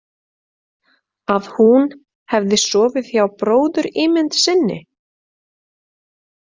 Að hún hefði sofið hjá bróðurímynd sinni?